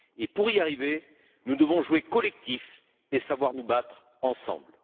Pour y arriver, nous devons jouer collectif et savoir nous battre ensemble.